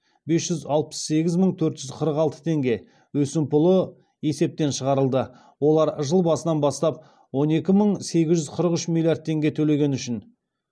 бес жүз алпыс сегіз мың төрт жүз қырық алты теңге өсімпұлы есептен шығарылды олар жыл басынан бастап он екі мың сегіз жүз қырық үш миллиард теңге төлегені үшін